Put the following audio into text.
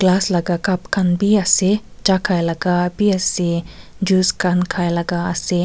glass laga cup kan be ase cha kai laga be ase juice kan khai laga ase.